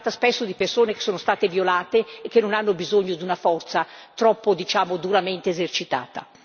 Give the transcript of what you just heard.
Si tratta spesso di persone che sono state violate e che non hanno bisogno di una forza troppo, diciamo, duramente esercitata.